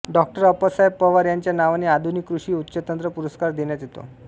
डॉ अप्पासाहेब पवार यांच्या नावाने आधुनिक कृषी उच्चतंत्र पुरस्कार देण्यात येतो